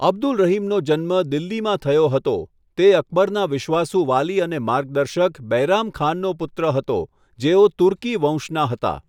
અબ્દુલ રહીમનો જન્મ દિલ્હીમાં થયો હતો, તે અકબરના વિશ્વાસુ વાલી અને માર્ગદર્શક બૈરામ ખાનનો પુત્ર હતો, જેઓ તુર્કી વંશના હતા.